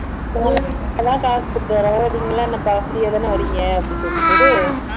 காசு கொடுத்து வரோம் நீங்க எல்லாம் என்னப்பா free ஆ தானே வறீங்க அப்படி சொல்லிட்டு இது